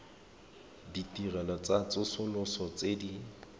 ditirelo tsa tsosoloso tse di